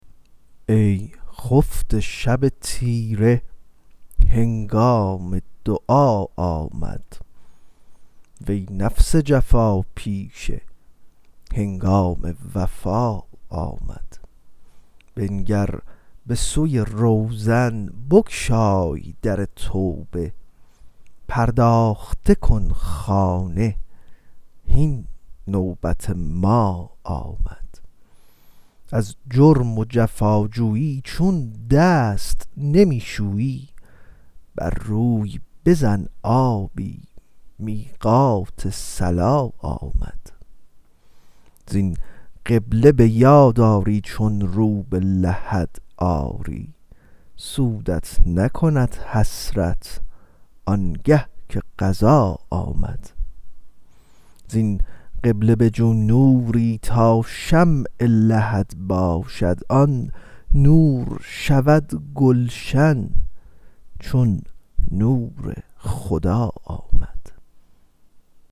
ای خفته شب تیره هنگام دعا آمد وی نفس جفاپیشه هنگام وفا آمد بنگر به سوی روزن بگشای در توبه پرداخته کن خانه هین نوبت ما آمد از جرم و جفاجویی چون دست نمی شویی بر روی بزن آبی میقات صلا آمد زین قبله به یاد آری چون رو به لحد آری سودت نکند حسرت آنگه که قضا آمد زین قبله بجو نوری تا شمع لحد باشد آن نور شود گلشن چون نور خدا آمد